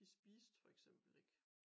De spiste for eksempel ikke